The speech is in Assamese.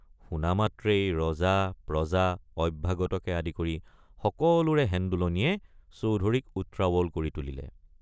শুনা মাত্ৰেই ৰজাপ্ৰজা অভ্যাগতকে আদি কৰি সকলোৰে হেন্দোলনিয়ে চৌধুৰীক উত্ৰাৱল কৰি তুলিলে।